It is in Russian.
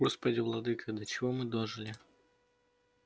господи владыко до чего мы дожили